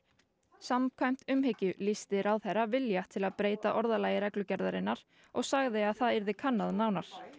samkvæmt umhyggju lýsti ráðherra vilja til að breyta orðalagi reglugerðarinnar og sagði að það yrði kannað nánar